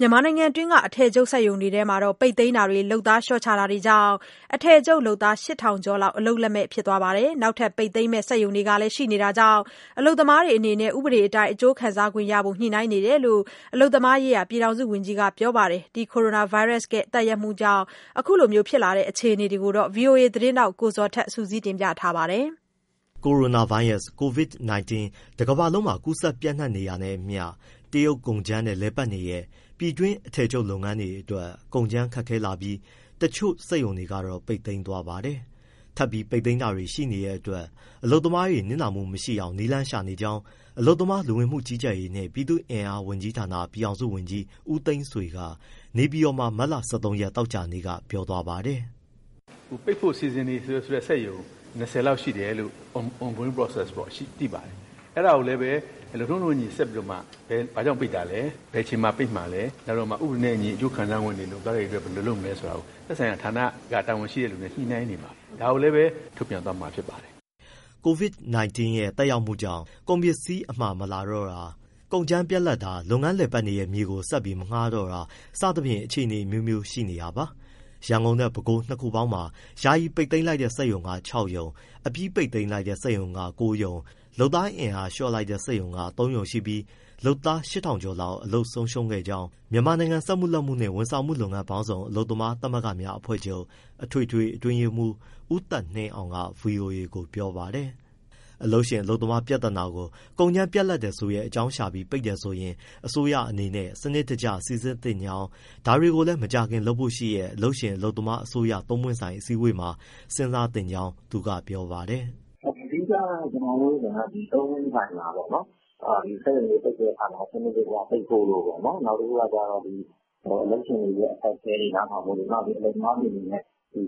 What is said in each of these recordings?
မြန်မာနိုင်ငံတွင်း အထည်ချုပ်စက်ရုံတွေထဲက ပိတ်သိမ်းတာတွေ၊ လုပ်သားလျှော့ချတာတွေကြောင့် အထည်ချုပ်လုပ်သား ၈,၀၀၀ ကျော်လောက် အလုပ်လက်မဲ့ဖြစ်နေပါတယ်။ နောက်ထပ် ပိတ်သိမ်းမယ့် စက်ရုံတွေလည်း ရှိနေတာ ကြောင့် အလုပ်သမားတွေအနေနဲ့ ဥပဒေအတိုင်း အကျိုးခံစားခွင့်ရဖို့ ညှိနှိုင်းနေတယ်လို့ အလုပ်သမားရေးရာ ပြည်ထောင်စုဝန်ကြီးက ပြောပါတယ်။ ကိုရိုနာဗိုင်းရပ်စ်ရဲ့ သက်ရောက်မှုကြောင့် အခုလိုဖြစ်လာတဲ့အခြေအနေကို ဗွီအိုအေသတင်းထောက် ကိုဇော်ထက်က ဆက်ပြောပြပါမယ်။ ကိုရိုနာဗိုင်းရပ်စ် Covid-19 တကမ္ဘာလုံးနီးပါးမှာ ပျံ့နှံ့ ကူးစက်နေတာနဲ့အမျှ တရုတ်ကုန်ကြမ်းနဲ့လည်ပတ်နေတဲ့ ပြည်တွင်း အထည်ချုပ်လုပ်ငန်းတွေအတွက် ကုန်ကြမ်းခက်ခဲလာပြီး တချို့စက်ရုံတွေကတော့ ပိတ်သိမ်းသွားပါတယ်။ ထပ်ပြီးပိတ်သိမ်းတာ တွေရှိနေတဲ့အတွက် အလုပ်သမားတွေ နစ်နာမှုမရှိအောင် နည်းလမ်းရှာနေကြောင်း အလုပ်သမား၊ လူဝင်မှုကြီးကြပ်ရေးနှင့် ပြည်သူ့အင်အားဝန်ကြီးဌာန ပြည်ထောင်စုဝန်ကြီး ဦးသိန်းဆွေက နေပြည်တော်မှာ မတ်လ ၁၃ ရက် သောကြာနေ့က ပြောပါတယ်။ “ပိတ်ဖို့ စီစဉ်နေတဲ့စက်ရုံ ၂၀ လောက်ရှိတယ်လို့ on-going process ပေါ့နော် သိပါတယ်။ အဲဒါကိုလည်း လုပ်ထုံး လုပ်နည်းနဲ့အညီ ဆက်ပြီးတော့မှ ဘာကြောင့်ပိတ်တာလဲ၊ ဘယ်အချိန်မှာ ပိတ်မှာလဲ၊ ဥပဒေနဲ့အညီ အကျိုးခံစားခွင့်တွေ၊ လုပ်သားတွေအတွက် ဘယ်လိုလုပ်မလဲဆိုတာကို သက်ဆိုင်ရာ တာဝန်ရှိတဲ့သူနဲ့ ညှိနှိုင်းနေပါတယ်။ ဒါကိုလည်းပဲ ထုတ်ပြန်သွားမှာ ဖြစ်ပါတယ်။” Covid-19 ရဲ့ သက်ရောက်မှုကြောင့် ကုန်ပစ္စည်းအမှာမလာတော့တာ၊ ကုန်ကြမ်းတွေပြတ်တာ၊ လုပ်ငန်းလည်ပတ်နေတဲ့ မြေကို ဆက်ပြီး မငှားတော့တာ စသဖြင့် အခြေအနေအမျိုးမျိုး ရှိနေတာပါ။ ရန်ကုန်နဲ့ ပဲခူးတိုင်း နှစ်ခုပေါင်းမှာ ယာယီပိတ်သိမ်းတဲ့ စက်ရုံက ၆ ရုံ၊ အပြီးပိတ်တဲ့စက်ရုံ ၉ ရုံ၊ အင်အားလျှော့တဲ့စက်ရုံက ၃ ရုံ ရှိပြီး လုပ်သား ၈,၀၀၀ ကျော်လောက် အလုပ်ဆုံးရှုံးခဲ့ကြောင်း မြန်မာနိုင်ငံ စက်မှု၊ လက်မှုနှင့် ဝန်ဆောင်မှုလုပ်ငန်းပေါင်းစုံ အလုပ်သမားသမဂ္ဂများ အဖွဲ့ချုပ် အထွေထွေ အတွင်းရေးမှူး ဦးသက်နှင်းအောင်က ဗွီအိုအေကို ပြောပါတယ်။ အလုပ်ရှင်အလုပ်သမား ပြဿနာကို ကုန်ကြမ်းပြတ်လပ်တယ်ဆိုတဲ့ အကြောင်းရှာပြီး ပိတ်တယ်ဆို ရင် အစိုးရအနေနဲ့ စနစ်တကျစိစစ်သင့်ကြောင်း ဒါတွေကို မကြာခင်လုပ်ဖို့ရှိတဲ့ အလုပ်ရှင် အလုပ်သမား၊ အစိုးရ သုံးပွင့ ်ဆိုင် အစည်းအဝေးမှာ စဉ်းစားသင့်ကြောင်း သူကပြောပါတယ်။ “အဓိက သုံးပွင့်ဆိုင်မှာပေါ့လေ စက်ရုံတွေပိတ်တဲ့အခါမှာ စနစ်တကျပိတ်ဖို့၊ နောက် အလုပ်ရှင်တွေရဲ့ အခက်အခဲတွေ နားထောင်ဖို့၊ နောက် အလုပ်သမားတွေအနေနဲ့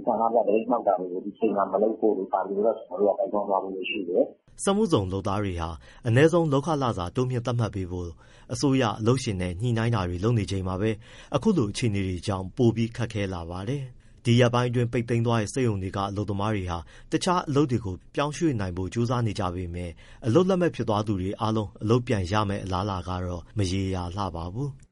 ဆန္ဒပြ သပိတ်မှောက်တာတွေ ဒီအချိန်မှာ မလုပ်ဖို့တို့ ဒီအချိန်မှာ၊ ဒါတွေကို ကျနော်တို့က တိုက်တွန်းသွားဖို့ ရှိတယ်။” စက်မှုဇုန်လုပ်သားတွေဟာ အနည်းဆုံးလုပ်ခလစာ တိုးမြှင့်သတ်မှတ်ပေးဖို့ အစိုးရ၊ အလုပ်ရှင်နဲ့ ညှိနှိုင်းတာတွေလုပ်နေချိန်မှာပဲ အခုလို အခြေအနေတွေကြောင့် ပိုပြီးခက်ခဲလာပါတယ်။ ဒီရက်ပိုင်း ပိတ်သိမ်းသွားတဲ့ စက်ရုံတွေက အလုပ်သမားတွေဟာ တခြားအလုပ်တွေကို ပြောင်းရွှေ့နိုင်ဖို့ ကြိုးစားနေကြပေမဲ့လည်း အလုပ်လက်မဲ့ဖြစ်သွားသူတွေအားလုံး အလုပ်ပြန်ရမယ့် အလားအလာကတော့ မရေရာလှပါဘူး။